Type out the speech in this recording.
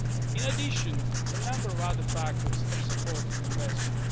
In addition, a number of other factors have supported investment.